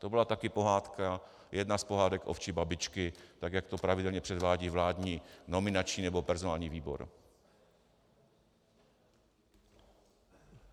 To byla taky pohádka, jedna z pohádek ovčí babičky, tak jak to pravidelně předvádí vládní nominační nebo personální výbor.